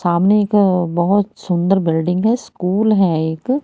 सामने एक बहोत सुंदर बिल्डिंग है स्कूल है एक--